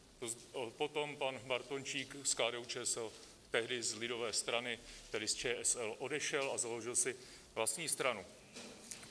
Potom pan Bartončík z KDU-ČSL, tehdy z lidové strany, tedy z ČSL, odešel a založil si vlastní stranu.